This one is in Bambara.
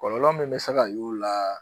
Kɔlɔlɔ min bɛ se ka y'o la